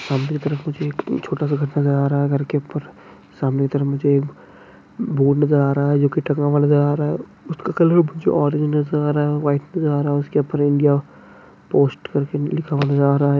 सामने के तरफ मुझे एक एक छोटा सा आ रहा है घर के उपर सामने तरफ मुझे बोर्ड नजर आ रहा हैंजो की नजर आ रहा हैं उसके कलर भुजा ऑरेंज नजर आ रहा हैं व्हाइट नजर आ रहा हैं करके लिखा हुआ नजर आ रहा है।